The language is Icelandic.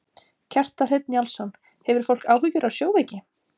Kjartan Hreinn Njálsson: Hefur fólk áhyggjur af sjóveiki?